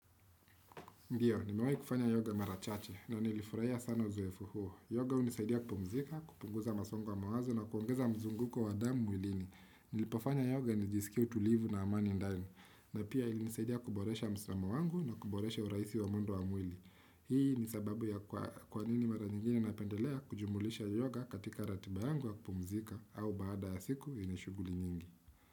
Ndiyo, nimewahi kufanya yoga marachache na nilifurahia sana uzowefu huo. Yoga unisaidia kupumzika, kupunguza masongo wa mawazo na kuongeza mzunguko wa damu mwilini. Nilipofanya yoga nijisikia utulivu na amani ndani. Na pia ilisaidia kuboresha mslama wangu na kuboresha uraisi wa mwendo wa mwili. Hii nisababu ya kwanini mara nyingine napendelea kujumulisha yoga katika ratiba yangu ya kupumzika au baada ya siku inishuguli nyingi.